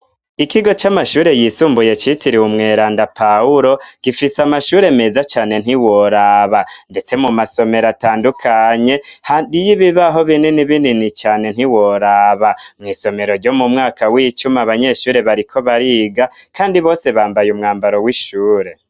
Ikigo c'amashure yisumbuye citiriwe umweranda pawulo, gifis' amashure meza cane ntiworaba, ndetse mu masomer' atandukanye hariy ibibaho binini binini cane ntiworaba mw' isomero ryo mu mwaka w'icumi abanyeshuri bariko bariga kandi bose bambay' umwambaro w'ishure.